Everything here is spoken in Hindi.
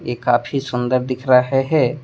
ये काफी सुंदर दिख रहा है।